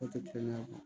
O tɛ kelen ye